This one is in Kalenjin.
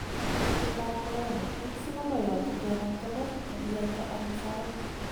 Kutyet ab corona: eng sikomoyoche kenam togoch kakiyaita ono soutik.